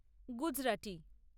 Gujarati